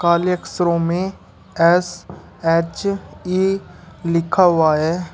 काले अक्षरों में एस एच_ई लिखा हुआ है।